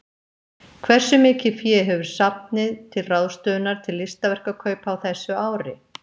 Hversu mikið fé hefur safnið til ráðstöfunar til listaverkakaupa á þessu ári?